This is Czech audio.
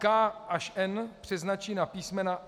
K až N přeznačí na písm.